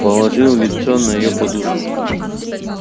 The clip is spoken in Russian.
положил лицо на её подушку